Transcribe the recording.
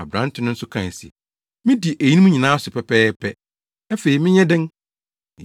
Aberante no nso kae se, “Midi eyinom nyinaa so pɛpɛɛpɛ. Afei menyɛ dɛn?”